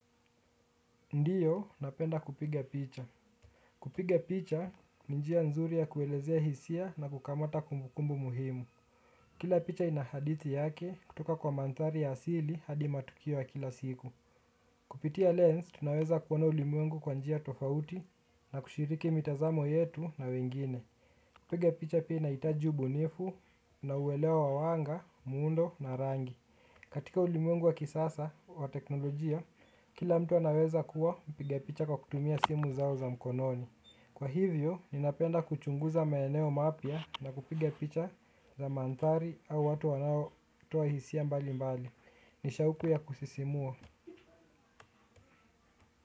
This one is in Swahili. Ndiyo, napenda kupiga picha. Kupiga picha, ni njia nzuri ya kuelezea hisia na kukamata kumbukumbu muhimu. Kila picha inahadithi yake, kutoka kwa manthari ya asili hadi matukiwo ya kila siku. Kupitia lens, tunaweza kuwona ulimuengu kwa njia tofauti na kushiriki mitazamo yetu na wengine. Piga picha pina itaji ubunifu na uwelewa wawanga, muundo na rangi. Katika ulimwengu wa kisasa wa teknolojia, kila mtu anaweza kuwa mpiga picha kwa kutumia simu zao za mkononi. Kwa hivyo, ninapenda kuchunguza maeneo mapya na kupige picha za manthari au watu wanao toa hisia mbali mbali. Nishauku ya kusisimua.